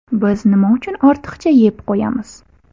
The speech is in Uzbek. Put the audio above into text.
Biz nima uchun ortiqcha yeb qo‘yamiz?.